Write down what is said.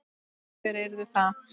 Hver yrði það?